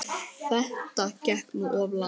Þetta gekk nú of langt.